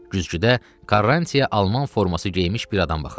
Güzgüdə Quaranti-ya Alman forması geymiş bir adam baxırdı.